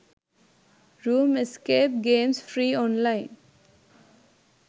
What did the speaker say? room escape games free online